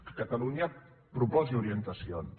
que catalunya proposi ori·entacions